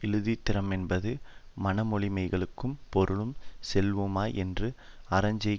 இயலுந்திறமென்பது மனமொழிமெய்களும் பொருளும் செல்லும்வாய் என்று அறஞ்செய்தற்